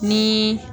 Ni